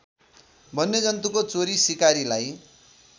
वन्यजन्तुको चोरी सिकारीलाई